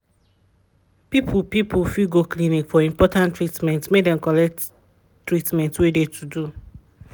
people people fit go clinic for important treatment make dem follow collect treatment wey de to do.